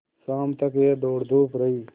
शाम तक यह दौड़धूप रही